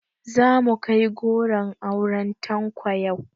Zamu kai goron auren Tanko yau